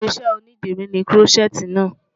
Irinṣẹ́ onídìrí ni Kúrọ́ṣẹ́ẹ́tì náà.